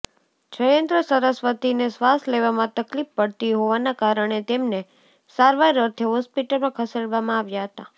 જયેન્દ્ર સરસ્વતીને શ્વાસ લેવામાં તકલીફ પડતી હોવાના કારણે તેમને સારવારઅર્થે હોસ્ટિપટલમાં ખેસડવામાં આવ્યા હતાં